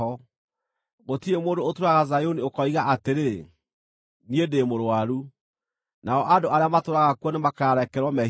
Gũtirĩ mũndũ ũtũũraga Zayuni ũkoiga atĩrĩ, “Niĩ ndĩ mũrũaru”; nao andũ arĩa matũũraga kuo nĩmakarekerwo mehia mao.